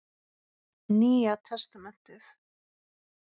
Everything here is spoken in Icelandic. Nýja testamentið.